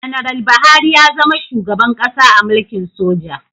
Ganaral Buhari ya zama shugaban ƙasa a mulkin soja